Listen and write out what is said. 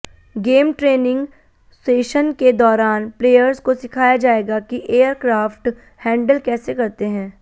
game training session के दौरान players को सिखाया जाएगा कि एयरक्राफ्ट हैंडल कैसे करते हैं